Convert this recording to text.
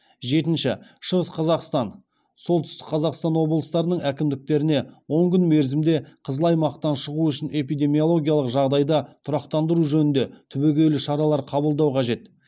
жетінші шығыс қазақстан солтүстік қазақстан облыстарының әкімдіктеріне он күн мерзімде қызыл аймақтан шығу үшін эпидемиологиялық жағдайды тұрақтандыру жөнінде түбегейлі шаралар қабылдау қажет